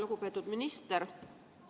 Lugupeetud minister!